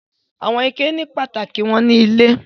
Àwọn ike ní pàtàkì wọn nílé.